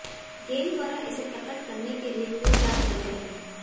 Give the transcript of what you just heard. गेंद द्वारा इसे प्रकट करने के लिए पूरी रात लगे रहे